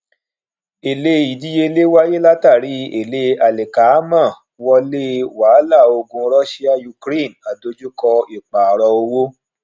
èle ìdíyelé wáyé látàrí ele alikaamo wọlé wàláà ogun russia ukraine àdojúko ìpààrọ owó